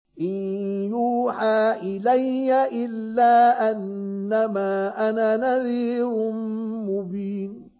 إِن يُوحَىٰ إِلَيَّ إِلَّا أَنَّمَا أَنَا نَذِيرٌ مُّبِينٌ